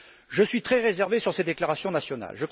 Je suis très réservé sur ces déclarations nationales.